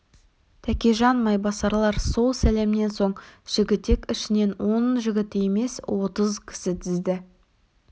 тәкежан майбасарлар сол сәлемнен соң жігітек ішінен он жігіт емес отыз кісі тізді